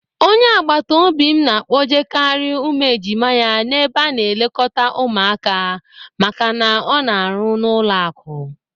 Onye agbataobi m na-akpọjekarị ụmụ ejima ya n'ebe a na-elekọta ụmụaka maka na ọ na-arụ n'ụlọakụ.